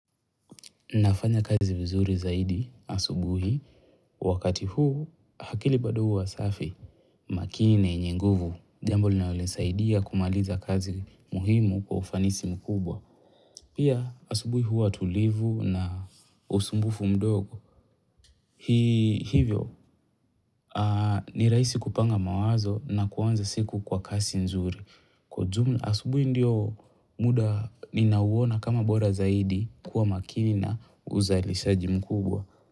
Nafanya kazi vizuri zaidi asubuhi, wakati huu hakili bado huwa safi, makini na yenyenguvu. Jambo li naloni saidi ya kumaliza kazi muhimu kwa ufanisi mkubwa. Pia asubuhi huwa tulivu na usumbufu mdogo. Hivyo, ni raisi kupanga mawazo na kuwanza siku kwa kasi nzuri. Kwa jumla asubuhi ndio muda ninauwona kama bora zaidi kuwa makini na uzalishaji mkubwa.